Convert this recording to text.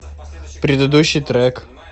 предыдущий трек